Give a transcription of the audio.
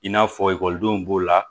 I n'a fɔ ekɔlidenw b'o la